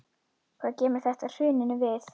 Hvað kemur þetta hruninu við?